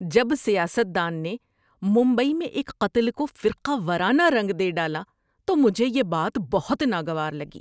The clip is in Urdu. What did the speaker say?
جب سیاست دان نے ممبئی میں ایک قتل کو فرقہ وارانہ رنگ دے ڈالا تو مجھے یہ بات بہت ناگوار لگی۔